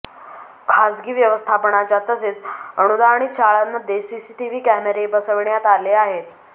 खासगी व्यवस्थापनाच्या तसेच अनुदानित शाळांमध्ये सीसीटीव्ही कॅमेरे बसविण्यात आले आहेत